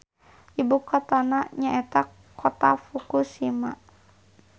Ibukotana nyaeta Kota Fukushima.